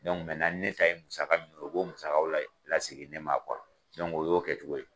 ni ne ta ye musaka mun ye u bɛ u musakaw lasigi ne ma o y'o kɛ cogo ye.